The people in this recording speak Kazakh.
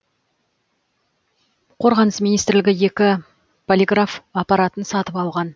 қорғаныс министрлігі екі полиграф аппаратын сатып алған